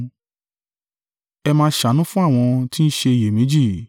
Ẹ máa ṣàánú fún àwọn tí ń ṣe iyèméjì.